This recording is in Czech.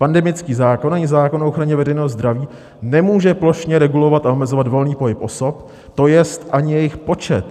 Pandemický zákon i zákon o ochraně veřejného zdraví nemůže plošně regulovat a omezovat volný pohyb osob, to jest ani jejich počet.